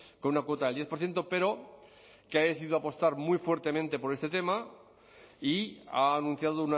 con una cuota del diez por ciento pero que ha decidido apostar muy fuertemente por este tema y ha anunciado